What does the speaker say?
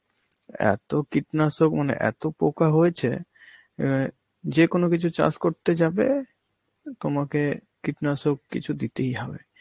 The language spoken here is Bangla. এত কীটনাশক মানে এত পোকা হয়েছে অ্যাঁ যে কোন কিছু চাষ করতে যাবে, তোমাকে কীটনাশক কিছু দিতেই হবে.